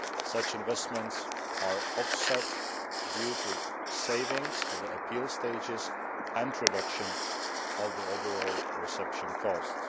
Such investments are offset due to savings at the appeal stages and a reduction in overall reception costs.